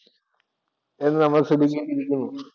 എന്ന് നമ്മൾ ചിന്തിക്കേണ്ടിയിരിക്കുന്നു.